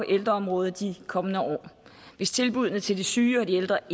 ældreområdet i de kommende år hvis tilbuddene til de syge og de ældre